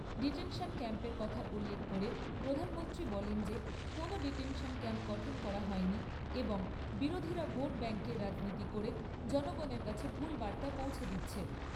Detention ক্যাম্পের কথা উল্লেখ করে প্রধানমন্ত্রী বলেন যে কোনও ডিটেনশন ক্যাম্প গঠন করা হয় নি এবং বিরোধীরা ভোট ব্যাঙ্কের রাজনীতি করে জনগণের কাছে ভুল বার্তা পৌঁছে দিচ্ছে।